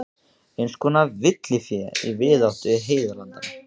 Eins konar villifé í víðáttu heiðalandanna.